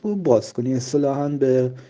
баскони